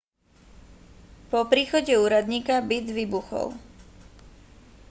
po príchode úradníka byt vybuchol